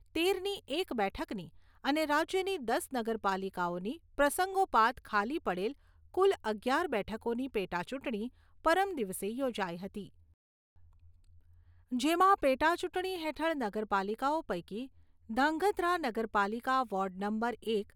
તેરની એક બેઠકની અને રાજ્યની દસ નગરપાલિકાઓની પ્રસંગોપાત ખાલી પડેલ કુલ અગિયાર બેઠકોની પેટાચૂંટણી પરમ દિવસે યોજાઈ હતી, જેમાં પેટાચૂંટણી હેઠળ નગરપાલિકાઓ પૈકી ધાંગ્રધા નગરપાલિકા વોર્ડ નંબર એક